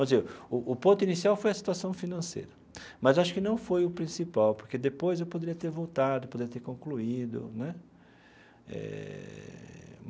O o ponto inicial foi a situação financeira, mas acho que não foi o principal, porque depois eu poderia ter voltado, poderia ter concluído né eh.